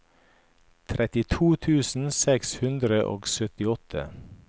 trettito tusen seks hundre og syttiåtte